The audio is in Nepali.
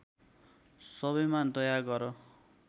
सबैमा दया गर